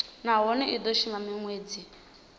nahone i do shuma minwedzi